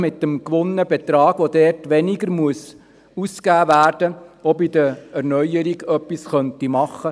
Mit dem so gewonnenen Betrag könnte man auch bei den Erneuerungen etwas machen.